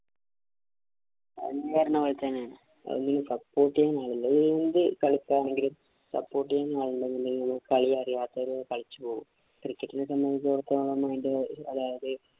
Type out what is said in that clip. അത് തന്നെ support ചെയ്യാന്‍ ആളില്ല. എന്ത് കളിക്കുകയാണെങ്കിലും support ചെയ്യാന്‍ ആളുണ്ടെങ്കിലെ കളി അറിയാത്തവരും കളിച്ചു പോകും. Cricket ഇനെ സംബന്ധിച്ചടുത്തോളം അതിന്‍റെ അതായത്